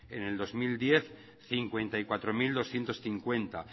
en el dos mil diez cincuenta y cuatro mil doscientos cincuenta